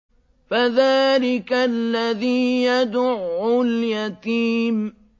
فَذَٰلِكَ الَّذِي يَدُعُّ الْيَتِيمَ